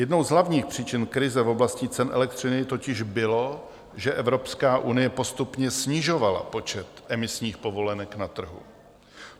Jednou z hlavních příčin krize v oblasti cen elektřiny totiž bylo, že Evropská unie postupně snižovala počet emisních povolenek na trhu.